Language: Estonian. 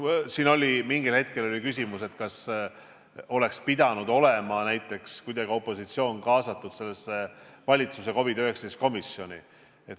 Siin oli mingil hetkel küsimus, kas oleks pidanud näiteks opositsioon olema kuidagi kaasatud valitsuse COVID-19 komisjoni.